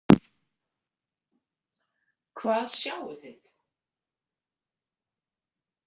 Hvað sjáið þið?